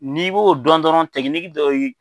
N'i b'o dɔn dɔrɔn dɔ ye